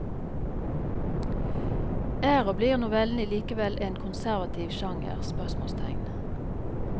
Er og blir novellen likevel en konservativ sjanger? spørsmålstegn